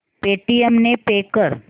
Paytm ने pay कर